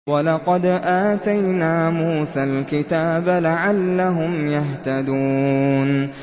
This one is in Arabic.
وَلَقَدْ آتَيْنَا مُوسَى الْكِتَابَ لَعَلَّهُمْ يَهْتَدُونَ